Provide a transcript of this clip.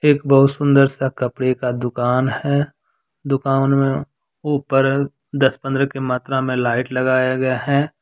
एक बहुत सुंदर सा कपड़े का दुकान है। दुकान मे ऊपर दस पंद्रह की मात्रा मे लाइट लगाया गया है।